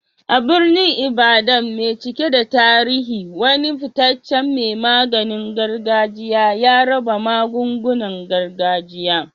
A birnin Ibadan mai cike da tarihi, wani fitaccen mai maganin gargajiya ya raba magungunan gargajiya.